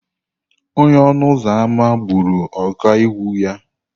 Onye ọnụ ụzọ ámá gburu ọkaiwu ya.